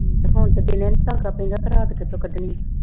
ਹੁਣ ਤੇ ਦਿਨੇਂ ਨਹੀਂ ਧਾਗਾ ਪੈਂਦਾ ਤੇ ਰਾਤ ਕਿਥੋਂ ਕੱਢਣੀ।